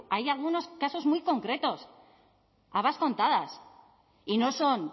hay algunos casos muy concretos habas contadas y no son